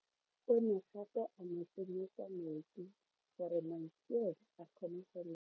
O ne gape a mo tsenyetsa metsi gore Mansfield a kgone go lema.